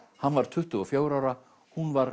hann var tuttugu og fjögurra ára hún var